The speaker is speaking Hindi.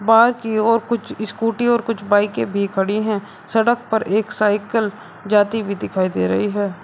बाकी और कुछ स्कूटी और कुछ बाईकें भी खड़ी हैं सड़क पर एक साइकिल जाती हुई दिखाई दे रही है।